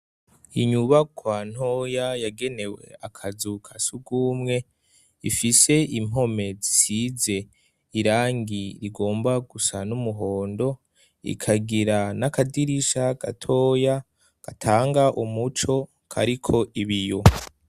Inyubakwa ntoya yagenewe akazu kasugwumwe, ifise impome zisize irangi rigomba gusa n'umuhondo, ikagira n'akadirisha gatoya gatanga umuco kariko ibiyo.